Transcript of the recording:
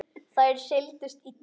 Þær seldust illa.